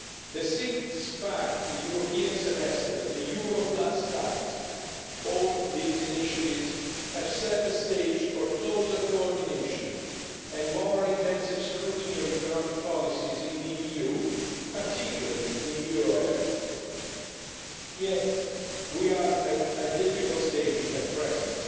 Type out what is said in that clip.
The six pack', the European Semester, the Euro Plus Pact all these initiatives have set the stage for closer coordination and more intensive scrutiny of economic policies in the EU, particularly in the euro area. Yet we are at a difficult stage at present.